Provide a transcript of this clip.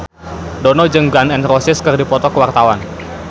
Dono jeung Gun N Roses keur dipoto ku wartawan